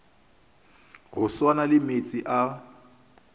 go swana le meetse a